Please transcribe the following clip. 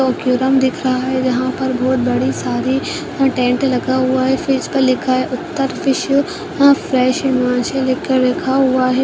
औक्यूरम दिख रहा है जहां पर बोहोत बड़ी सारी अ टेंट लगा हुवा है फिर इस पर लिखा है उत्तर फिश । यहाँँ फ्रेश हिमाचल लिख कर लिखा हुवा है।